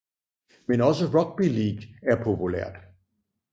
Men også rugby league er populært